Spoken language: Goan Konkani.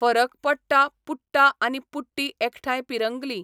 फरक पडटा पुट्टा आनी पुट्टी एखठांय पिंरगली.